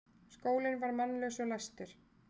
Skólinn var mannlaus og læstur.